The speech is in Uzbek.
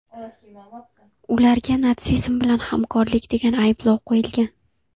Ularga natsizm bilan hamkorlik degan ayblov qo‘yilgan.